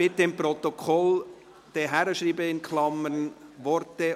Bitte schreiben Sie in Klammern ins Protokoll: